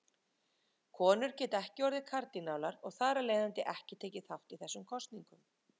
Konur geta ekki orðið kardínálar og þar af leiðandi ekki tekið þátt í þessum kosningum.